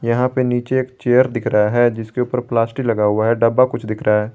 यहां पे नीचे एक चेयर दिख रहा है जिसके ऊपर प्लास्टिक लगा हुआ है डब्बा कुछ दिख रहा है।